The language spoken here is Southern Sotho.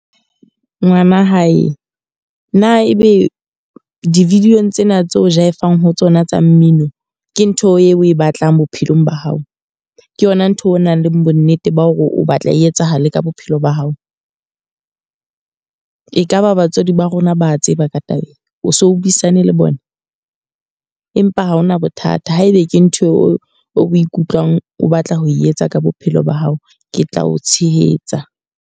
Ngwana hae, na ebe di-video-ng tsena tse o jaeva-ng ho tsona tsa mmino. Ke ntho eo o e batlang bophelong ba hao? Ke yona ntho eo o nang le bo nnete ba hore o batla e etsahale ka bophelo ba hao? E ka ba batswadi ba rona ba tseba ka taba ena? O so o buisane le bona? Empa ha hona bothata. Haebe ke ntho eo o ikutlwang o batla ho etsa ka bophelo ba hao, ke tla o tshehetsa.